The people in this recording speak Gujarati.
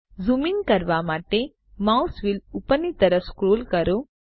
ઝૂમ ઇન કરવા માટે માઉસ વ્હીલ ઉપરની તરફ સ્ક્રોલ કરો